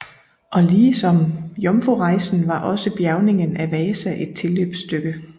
Og ligesom jomfrurejsen var også bjærgningen af Vasa et tilløbsstykke